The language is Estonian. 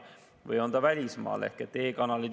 Või kui keegi on näiteks välismaal.